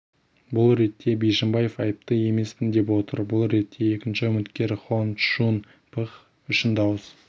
бұл ретте бишімбаев айыпты емеспін деп отыр бұл ретте екінші үміткер хон чжун пх үшін дауыс